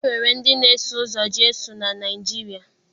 E nwere ndị na-eso ụzọ Jesu na Naịjirịa